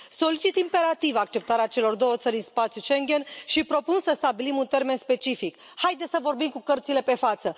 Solicit imperativ acceptarea celor două țări în spațiul Schengen și propun să stabilim un termen specific. Haideți să vorbim cu cărțile pe față.